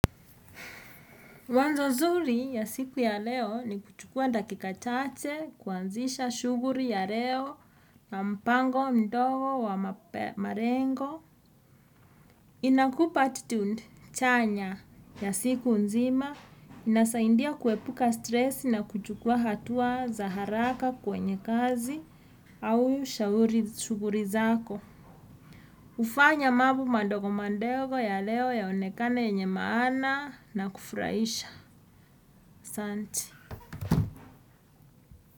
Wazo nzuri ya siku ya leo ni kuchukua dakika chache, kuanzisha shughuli ya leo, na mpango mdogo wa malengo. Inakupa 'attitude' chanya ya siku nzima, inasaindia kuepuka 'stress' na kuchukua hatua za haraka kwenye kazi au shughuli zako. Hufanya mambo mandogo mandogo ya leo yaonekane yenye maana na kufurahisha. Asanti.